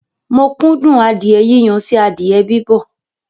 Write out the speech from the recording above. Mo kún dùn adìẹ yíyan sí adìẹ bibọ̀